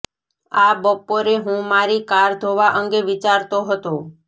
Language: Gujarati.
આ બપોરે હું મારી કાર ધોવા અંગે વિચારતો હતો